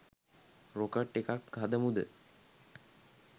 Rocket එකක් හදමුද?